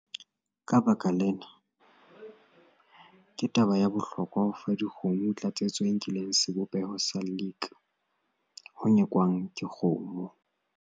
Ka baka lena, ke taba ya bohlokwa ho fa dikgomo tlatsetso e nkileng sebopeho sa lick ho nyekwang ke kgomo.